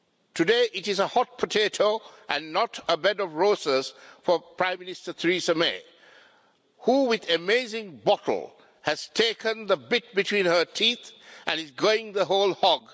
Today it is a hot potato, and not a bed of roses for Prime Minister Theresa May, who, with amazing bottle has taken the bit between her teeth and is going the whole hog.